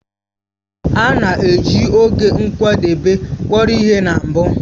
A na-eji oge nkwadebe kpọrọ ihe na mbụ